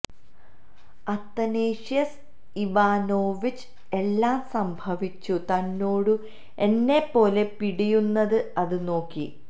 Athanasius Ivanovich എല്ലാ സംഭവിച്ചു തന്നോടു എന്നപോലെ പിടയുന്നത് അത് നോക്കി